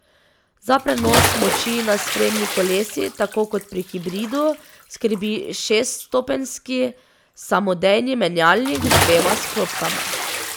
Za prenos moči na sprednji kolesi tako kot pri hibridu skrbi šeststopenjski samodejni menjalnik z dvema sklopkama.